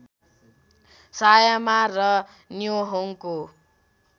सायामा र न्योहोङको